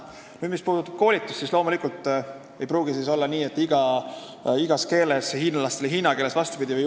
Mis puudutab koolitust, siis loomulikult ei pruugi olla nii, et seda tehakse päris igas keeles, et hiinlastele hiina keeles jne.